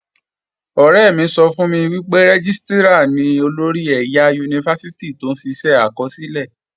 Ọ̀rẹ́ mi sọ fún mi pé Rẹ́gístrà ni olórí ẹ̀yà Yunifásítì tó ń ṣiṣẹ́ àkọsílẹ̀